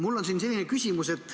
Mul on selline küsimus.